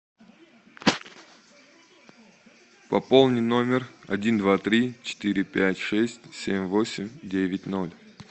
пополни номер один два три четыре пять шесть семь восемь девять ноль